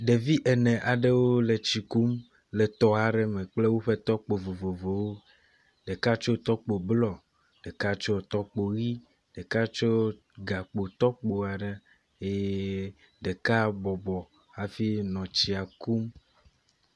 Ɖevi ene aɖewo le tsi kum le tɔ aɖe me kple woƒe tɔkpo vovovowo. Ɖeka tsɔ tɔkpo blɔ, ɖeka tsɔ tɔkpo ʋi, ɖeka tsɔ gakpo tɔkpo aɖe ye ɖeka bɔbɔ hafi nɔ tsia kum.